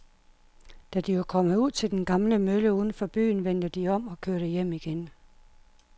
Da de var kommet ud til den gamle mølle uden for byen, vendte de om og kørte hjem igen.